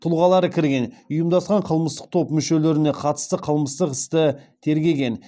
тұлғалары кірген ұйымдасқан қылмыстық топ мүшелеріне қатысты қылмыстық істі тергеген